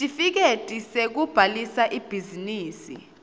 sitifiketi sekubhalisa ibhizinisi